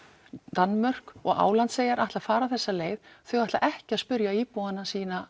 Danmörk og Álandseyjar ætla að fara þessa leið þau ætla ekki að spurja íbúana sína